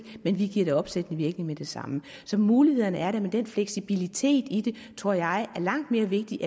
men vi giver det opsættende virkning med det samme så mulighederne er der men den fleksibilitet ind i det tror jeg er langt mere vigtigt